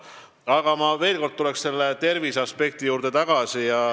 Aga ma tuleksin veel kord tagasi terviseaspekti juurde.